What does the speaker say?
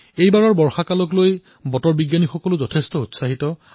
এইবাৰৰ বৰ্ষাক লৈ বতৰ বিজ্ঞানীসকলো অধিক উৎসাহী হৈছে